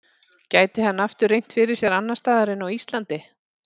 Gæti hann aftur reynt fyrir sér annars staðar en á Íslandi?